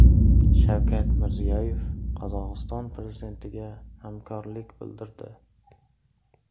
Shavkat Mirziyoyev Qozog‘iston prezidentiga hamdardlik bildirdi.